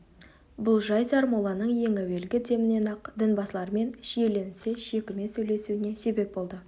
бұл жай сармолланың ең әуелгі демінен-ақ дін басылармен шиеленісе шекіме сөйлесуіне себеп болды